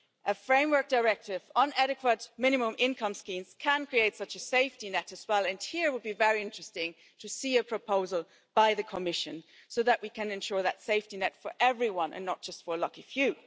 A framework directive on adequate minimum income schemes can create such a safety net as well, and here it would be very interesting to see a proposal by the Commission, so that we can ensure that safety net for everyone and not just for a lucky few.